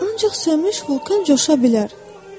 Ancaq sönmüş vulkan coşa bilər.